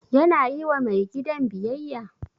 Yana yi wa mai gidan biyayya?